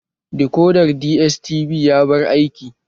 Dikodar DSTV ya bar aiki